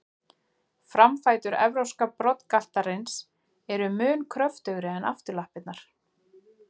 Framfætur evrópska broddgaltarins eru mun kröftugri en afturlappirnar.